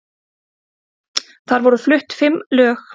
Þar voru flutt fimm lög